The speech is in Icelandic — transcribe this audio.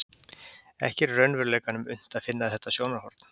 Ekki er í raunveruleikanum unnt að finna þetta sjónarhorn.